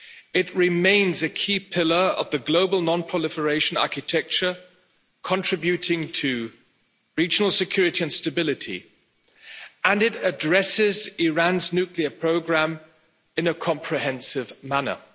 It remains a key pillar of the global non-proliferation architecture, contributing to regional security and stability and it addresses Iran's nuclear programme in a comprehensive manner.